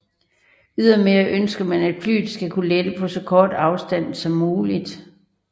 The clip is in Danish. Ydermere ønsker man at flyet skal kunne lette på så kort afstand som muligt